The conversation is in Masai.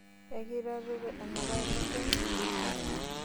Ekitareto enapailong toki?